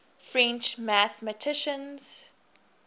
french mathematicians